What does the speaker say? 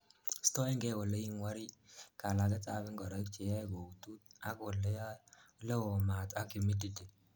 stoengei oleingwori, kalaget ab ingoroik cheyoe koutut ak oleo maat ak humidity